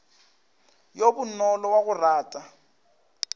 yo bonolo wa go rata